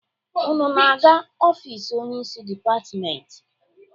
Unu na-aga ofisi onyeisi dịpatịmentị?